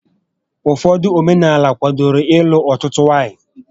Ụfọdụ omenaala kwádoro ịlụ ọtụtụ nwaanyị